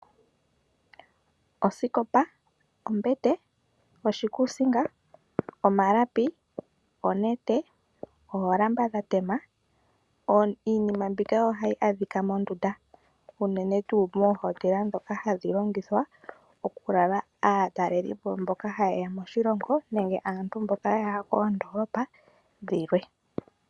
Osikopa, ombete, oshikuusinga, omalapi, oonete, oolamba dhatema, iinima mbika oha yi adhika mondunda. Uunene tuu moondunda dhoka hadhi futilwa oku lala aatalelipo mboka haye ya moshilongo nenge aantu mboka ya ya koondolopa dhilwe.